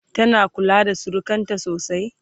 tana kula da surukanta sosai?